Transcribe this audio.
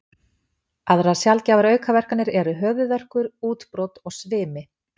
Aðrar sjaldgæfar aukaverkanir eru höfuðverkur, útbrot og svimi.